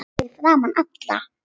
Fyrir framan alla?